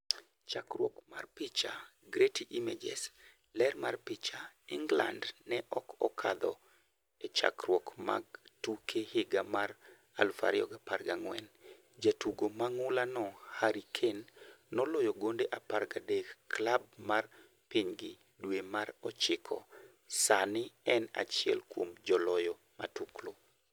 Chakruok mar picha, Getty Images, ler mar picha: Ingland ne ok okadho e chakruok mag tuke higa mar 2014. Jatugo mang'ulano Harry Kane noloyo gonde 13 klab mar pinygi dwe mar ochiko ,sani en achiel kuom joloyo matuklu.